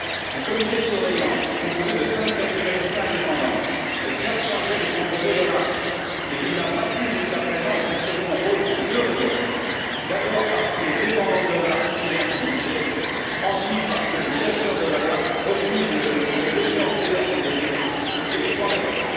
Un comité de surveillance, composé de cinq personnalités indépendantes, est certes chargé de contrôler l'OLAF, mais il n'a pas pu, jusqu'à présent, exercer son rôle pour deux raisons d'abord parce qu'il est dépendant de l'OLAF, qui gère son budget, ensuite parce que le directeur de l'OLAF refuse de le laisser accéder à ses données, ce qui est scandaleux.